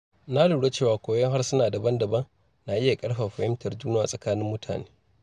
Na lura cewa koyon harsuna daban-daban na iya ƙarfafa fahimtar juna a tsakanin mutane.